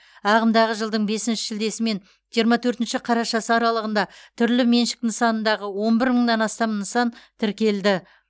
ағымдағы жылдың бесінші шілдесі мен жиырма төртінші қарашасы аралығында түрлі меншік нысанындағы он бір мыңнан астам нысан тіркелді